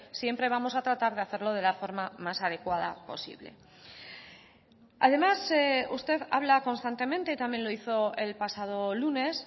siempre vamos a tratar de hacerlo de la forma más adecuada posible además usted habla constantemente también lo hizo el pasado lunes